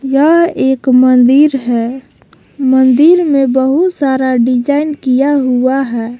यह एक मंदिर है मंदिर में बहुत सारा डिजाइन किया हुआ है।